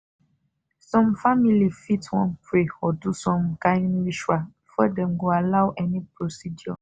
some famili fit wan pray or do some kind ritual before dem go allow any procedure